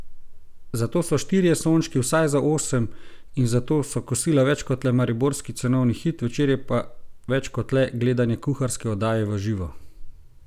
Zato so štirje sončki vsaj za osem in zato so kosila več kot le mariborski cenovni hit, večerje pa več kot le gledanje kuharske oddaje v živo.